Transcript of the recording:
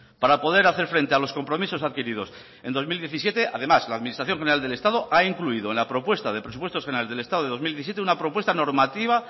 para poder hacer frente a los compromisos adquiridos en dos mil diecisiete además la administración general del estado ha incluido en la propuesta de presupuestos generales del estado del dos mil diecisiete una propuesta normativa